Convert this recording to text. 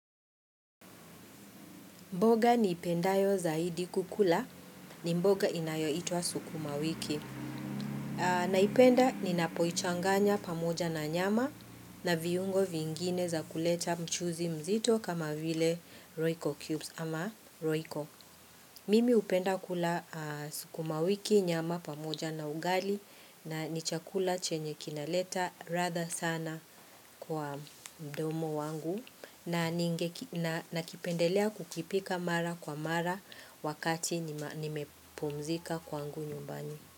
Mboga nipendayo zaidi kukula ni mboga inayoitwa sukuma wiki. Naipenda ni napoichanganya pamoja na nyama na viungo vingine za kuleta mchuzi mzito kama vile roiko cubes ama roiko. Mimi hupenda kula sukuma wiki nyama pamoja na ugali na nichakula chenye kinaleta ladha sana kwa mdomo wangu. Na kipendelea kukipika mara kwa mara wakati nimepumzika kwangu nyumbani.